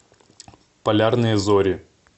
полярные зори